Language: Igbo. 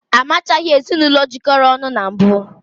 Ezinụlọ